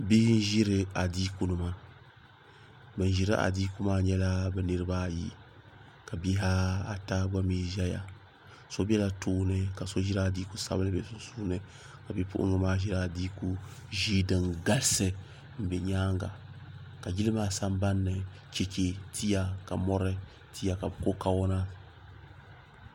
Bihi n ʒiri adiikunima. Ban ʒiri adiikum nyela bɛ niribi ayi ka bihi ata gba mi ʒiya so bela tooni ka so ʒiri adiikum sabinli be sunsuuni ka bipuɣingi maa ʒiri adiiku ʒee din galsi n be nyaanga ka yili maa sanban ni, cheche tia ka mɔri tia ka bɛ ko kawana.